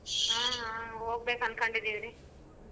ಹ್ಮ್ ಹೋಗ್ಬೇಕ ಅನ್ಕೊಂಡಿದೀವಿ ರೀ.